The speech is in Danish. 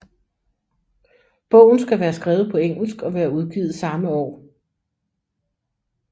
Bogen skal være skrevet på engelsk og være udgivet samme år